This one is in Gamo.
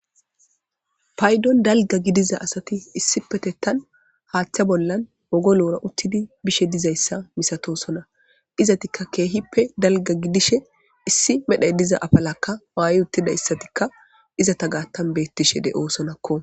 paydon dalga gidiza asati issi petettan haaththa bollan wogoloora uttidi bishe dizayssa misatosona izatikka keehippe dalga gidishe issi medhay diza afalakka waaye uttidayssatikka iza ta gaattan beettishe de7oosonakko